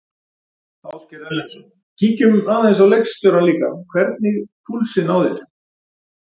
Ásgeir Erlendsson: Kíkjum aðeins á leikstjórann líka, hvernig púlsinn á þér?